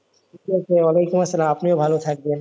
ঠিক আছে আপনিও ভালো থাকবেন,